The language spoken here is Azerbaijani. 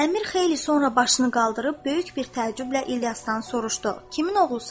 Əmir xeyli sonra başını qaldırıb böyük bir təəccüblə İlyasdan soruşdu: Kimin oğlusan?